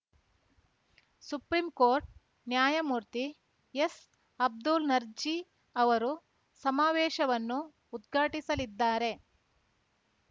supreme court ನ್ಯಾಯಮೂರ್ತಿ ಎಸ್‌ಅಬ್ದುಲ್‌ ನರ್ಜೀ ಅವರು ಸಮಾವೇಶವನ್ನು ಉದ್ಘಾಟಿಸಲಿದ್ದಾರೆ